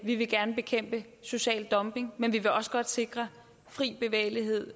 vi vil gerne bekæmpe social dumping men vi vil også godt sikre fri bevægelighed